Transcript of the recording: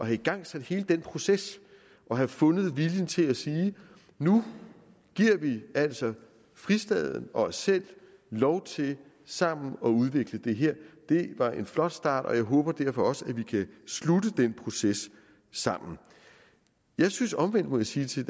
have igangsat hele den proces og have fundet viljen til at sige nu giver vi altså fristaden og os selv lov til sammen at udvikle det her det var en flot start og jeg håber derfor også at vi kan slutte den proces sammen jeg synes omvendt må jeg sige til